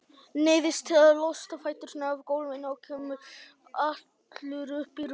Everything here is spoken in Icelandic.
Neyðist til að losa fæturna af gólfinu og koma allur upp í rúmið.